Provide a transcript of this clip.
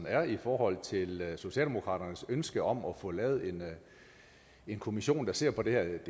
er i forhold til socialdemokratiets ønsker om at få lavet en kommission der ser på det her